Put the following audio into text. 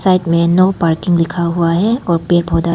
side में no parking लिखा हुआ है और पेड़ पौधा--